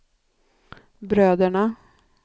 bröderna